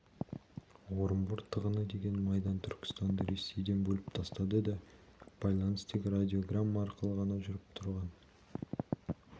орынбор тығыны деген майдан түркістанды ресейден бөліп тастады да байланыс тек радиограмма арқылы ғана жүріп тұрған